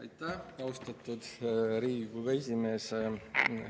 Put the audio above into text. Aitäh, austatud Riigikogu esimees!